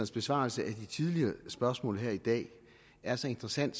besvarelse af de tidligere spørgsmål her i dag er så interessant